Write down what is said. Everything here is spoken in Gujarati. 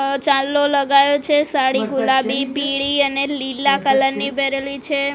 અ ચાંદલો લગાયો છે સાળી ગુલાબી પીળી અને લીલા કલર ની પેરેલી છે.